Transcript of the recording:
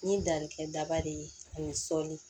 Ni danni kɛ daba de ye ani sɔli